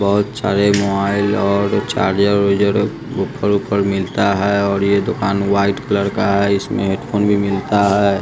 बहोत सारे मोबाइल और चारजर उरजर ओफर उफर मिलता है और ये दोकान व्हाइट कलर का है इसमें हेडफोन भी मिलता है।